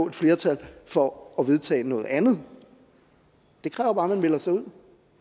et flertal for at vedtage noget andet det kræver bare at man melder sig ud